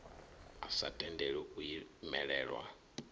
a sa tendeli u imelelwa